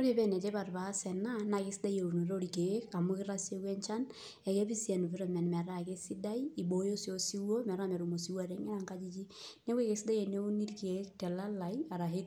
Ore pa enetipat paas enabna kesidai eunoto orkiek amu keyau enchan, akepik si environment metaa kesidai, ibooyo si osiwuo metaa metum nkangitie, neakukesidai teneuni irkiek telalai arashu